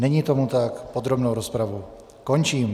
Není tomu tak, podrobnou rozpravu končím.